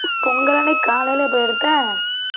பொங்கல் அன்னைக்கு காலையிலேயா போய் எடுத்த?